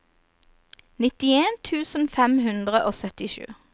nittien tusen fem hundre og syttisju